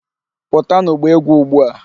Pụtanụ gbaa egwu ugbu a!